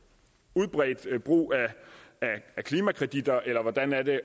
udbredt brug af klimakreditter eller hvordan er det